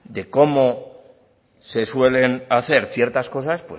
de cómo se suelen hacer ciertas cosas